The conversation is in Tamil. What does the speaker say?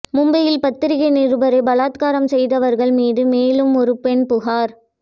மும்பையில் பத்திரிக்கை நிருபரை பலாத்காரம் செய்தவர்கள் மீது மேலும் ஒரு பெண் புகார்